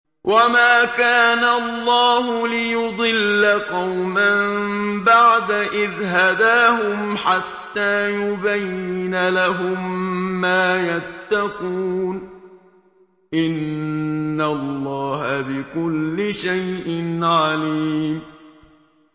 وَمَا كَانَ اللَّهُ لِيُضِلَّ قَوْمًا بَعْدَ إِذْ هَدَاهُمْ حَتَّىٰ يُبَيِّنَ لَهُم مَّا يَتَّقُونَ ۚ إِنَّ اللَّهَ بِكُلِّ شَيْءٍ عَلِيمٌ